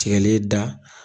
Tigɛlen da